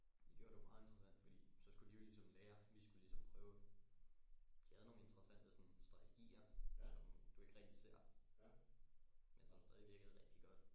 Det gjorde det jo meget interessant fordi så skulle de jo ligesom lære vi skulle ligesom prøve de havde nogle interessante sådan strategier som du ikke rigtig ser men som stadig virkede rigtig godt